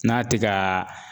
N'a te kaa